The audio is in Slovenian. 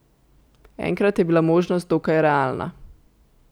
Enkrat je bila možnost dokaj realna.